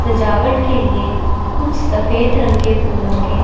सजावट के लिए कुछ सफेद रंग के फूलों के--